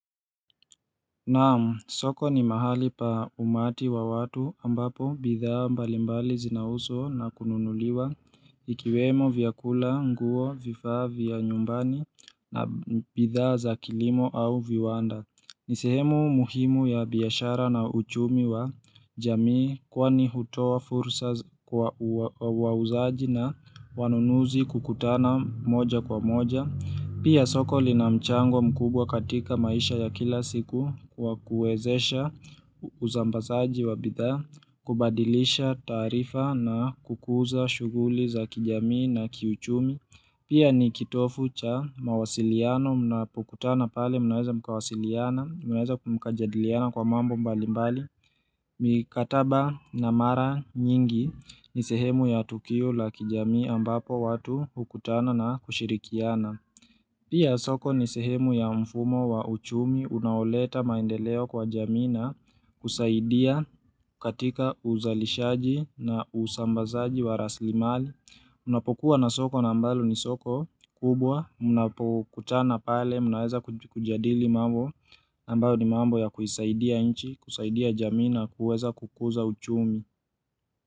Naam, soko ni mahali pa umati wa watu ambapo bidhaa mbalimbali zinauzwa na kununuliwa ikiwemo vyakula, nguo, vifaa vya nyumbani na bidhaa za kilimo au viwanda. Ni sehemu muhimu ya biashara na uchumi wa jamii kwani hutoa fursa wa wauzaji na wanunuzi kukutana moja kwa moja. Pia soko lina mchango mkubwa katika maisha ya kila siku kwa kuwezesha uzambasaji wa bidhaa, kubadilisha taarifa na kukuza shughuli za kijamii na kiuchumi. Pia ni kitofu cha mawasiliano mnapokutana pale mnaweza mkawasiliana, mnaweza mkajadiliana kwa mambo mbali mbali. Mikataba na mara nyingi ni sehemu ya tukio la kijamii ambapo watu hukutana na kushirikiana. Pia soko ni sehemu ya mfumo wa uchumi unaoleta maendeleo kwa jamii na kusaidia katika uzalishaji na usambazaji wa raslimali. Unapokuwa na soko na ambalo ni soko kubwa, mnapokutana pale, unaweza kujadili mambo, ambayo ni mambo ya kuisaidia nchi, kusaidia jamii na, kuweza kukuza uchumi.